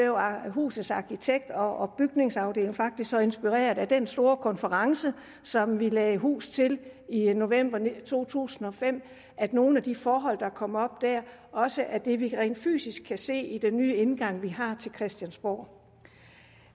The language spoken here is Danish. husets arkitekt og bygningsafdeling faktisk så inspireret af den store konference som vi lagde hus til i november to tusind og fem at nogle af de forhold der kom op der også er det vi rent fysisk kan se i den nye indgang vi har til christiansborg